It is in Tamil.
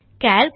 கால்க்